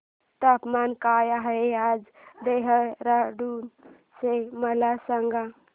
तापमान काय आहे आज देहराडून चे मला सांगा